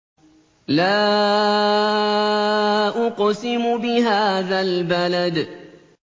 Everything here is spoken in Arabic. لَا أُقْسِمُ بِهَٰذَا الْبَلَدِ